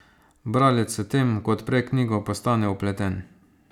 Bralec s tem, ko odpre knjigo, postane vpleten.